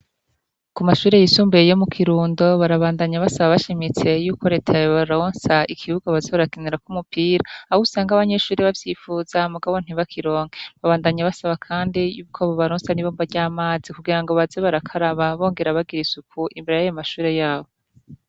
Ku mashure yisumbuye yo mu Kirundo, barabandanya basaba bashimitse yuko reta yobaronsa ikibuga baza barakinirako umupira, aho usanga abanyeshuri bavyipfuza mugabo ntibakironke, babandanya basaba kandi yuko bobaronsa n'ibomba ry'amazi kugirango baze barakaraba bongera bagira isuku imbere yayo mashure yabo.